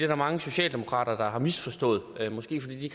der mange socialdemokrater der har misforstået måske fordi de